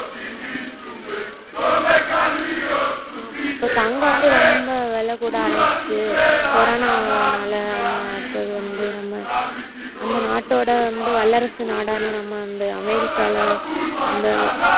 ஆமா இப்ப தங்கம் வந்து ரொம்ப விலை கூட ஆரம்பிச்சிடுச்சு கொரோனானால அடுத்தது வந்து நம்ம நாட்டோட வந்து வல்லரசு நாடான நம்ம வந்து அமெரிக்கால இந்த